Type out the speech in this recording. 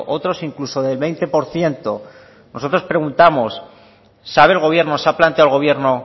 otros incluso del veinte por ciento nosotros preguntamos sabe el gobierno se ha planteado el gobierno